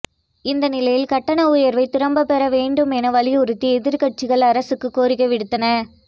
இந்த நிலையில் கட்டண உயர்வை திரும்ப பெற வேண்டும் என வலியுறுத்தி எதிர்க்கட்சிகள் அரசுக்கு கோரிக்கை விடுத்தன